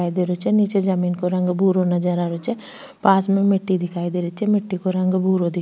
दिखाई दे रो छे निचे जमीं को रंग भूरो नजर आ रहे छे पास में मिट्टी दिखाई दे रही छे मिट्टी को रंग भूरो दि --